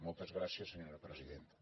moltes gràcies senyora presidenta